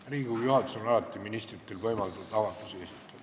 Riigikogu juhatus on alati ministritel võimaldanud avaldusi esitada.